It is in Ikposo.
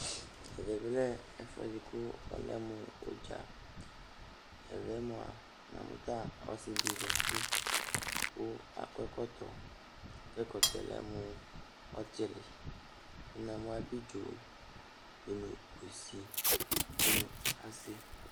ɛvɛ bi lɛ ɛfu ɛdi ku ɔlɛ mu udza, ɛvɛ mʋa namu ta ɔsi di zati ku akɔ ɛkɔtɔ ku ɛkɔtɔɛ lɛ mu ɔtili ku namu abidzo du nu kusi du ɔsi